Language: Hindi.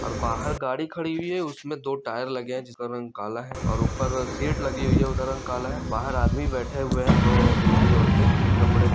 और बाहर गाड़ी खड़ी हुई है उसमें दो टायर लगे हैं जिसका रंग काला है और ऊपर शेड लगी हुई है उसका रंग काला है। बाहर आदमी बैठे हुए हैं दो ओ ओ बुढ़ी औरतें उनके कपड़े--